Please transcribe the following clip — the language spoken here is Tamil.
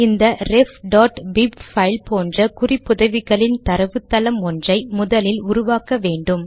இந்த refபிப் பைல் போன்ற குறிப்புதவிகளின் தரவுத்தளம் ஒன்றை முதலில் உருவாக்க வேண்டும்